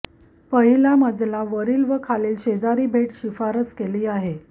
पहिला मजला वरील व खालील शेजारी भेट शिफारस केली आहे